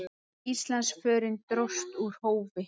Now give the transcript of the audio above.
Íslandsförin dróst úr hófi.